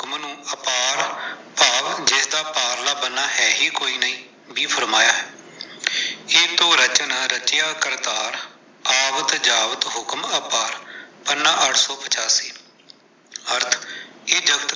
ਭਾਵ ਜਿਸਦਾ ਪਾਰਲਾ ਬੰਨਾ ਹੈ ਹੀ ਕੋਈ ਨਹੀਂ, ਵੀ ਫਰਮਾਇਆ ਹੈ, ਏਕੋ ਰਚਨ ਰਚਿਆ ਕਰਤਾਰ, ਆਵਤ ਜਾਵਤ ਹੁਕਮ ਅਪਾਰ, ਪੰਨਾ ਅੱਠ ਸੋ ਪਚਾਸੀ, ਅਰਥ ਇਹ ਜਗਤ।